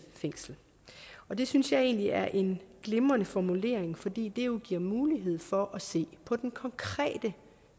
fængsel og det synes jeg egentlig er en glimrende formulering fordi det jo giver mulighed for at se på den konkrete